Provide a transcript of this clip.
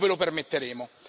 Non ve lo permetteremo.